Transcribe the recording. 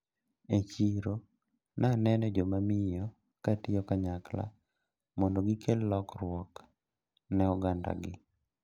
E chiro naneno jomamiyo katiyo kanyakla mondo gikel lokruok ne oganda gi.